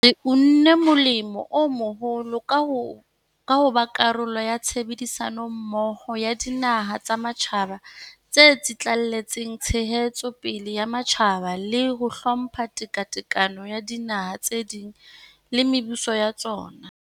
Re unne molemo o moholo ka ho ba karolo ya tshebedi sanommoho ya dinaha tsa matjhaba tse tsitlallelang ntshetso pele ya matjhaba le ho hlompha tekatekano ya dinaha tse ding le mebuso ya tsona.